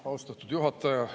Austatud juhataja!